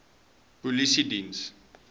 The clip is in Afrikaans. polisiediens